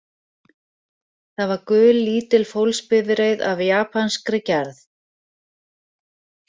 Það var gul, lítil fólksbifreið af japanskri gerð